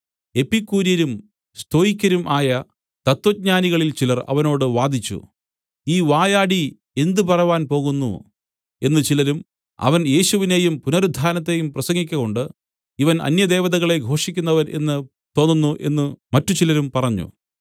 എപ്പിക്കൂര്യരും സ്തോയിക്കരും ആയ തത്വജ്ഞാനികളിൽ ചിലർ അവനോട് വാദിച്ചു ഈ വായാടി എന്ത് പറവാൻ പോകുന്നു എന്ന് ചിലരും അവൻ യേശുവിനെയും പുനരുത്ഥാനത്തെയും പ്രസംഗിക്കകൊണ്ട് ഇവൻ അന്യദേവതകളെ ഘോഷിക്കുന്നവൻ എന്ന് തോന്നുന്നു എന്നു മറ്റുചിലരും പറഞ്ഞു